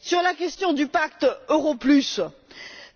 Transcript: Sur la question du pacte euro plus,